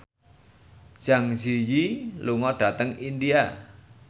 Zang Zi Yi lunga dhateng India